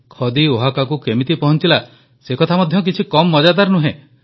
ଖଦି ଓହାକାକୁ କେମିତି ପହଂଚିଲା ସେ କଥା ମଧ୍ୟ କିଛି କମ ମଜାଦାର ନୁହଁ